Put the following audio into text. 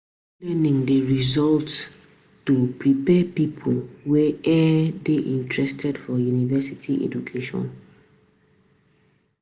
School learning dey usually um prepare pipo wey um dey interested for university education